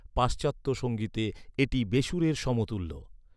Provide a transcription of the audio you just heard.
পাশ্চাত্য সঙ্গীতে, এটি বেসুরের সমতুল্য।